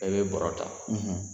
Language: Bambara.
E bɛ bɔrɔ ta